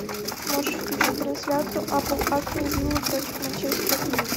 можешь включить трансляцию апл астон виллы против манчестера